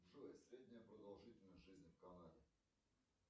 джой средняя продолжительность жизни в канаде